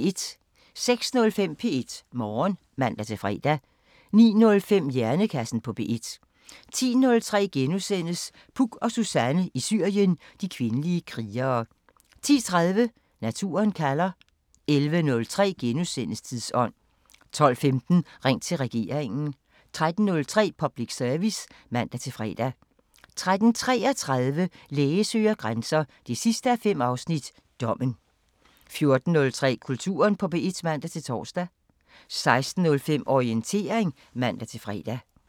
06:05: P1 Morgen (man-fre) 09:05: Hjernekassen på P1 10:03: Puk og Suzanne i Syrien: De kvindelige krigere * 10:30: Naturen kalder 11:03: Tidsånd * 12:15: Ring til regeringen 13:03: Public Service (man-fre) 13:33: Læge søger grænser 5:5 – Dommen 14:03: Kulturen på P1 (man-tor) 16:05: Orientering (man-fre)